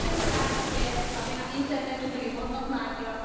V našem zájmu je, aby na internetu byla hodnotná díla.